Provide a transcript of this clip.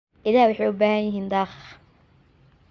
Idaha waxay u baahan yihiin daaq.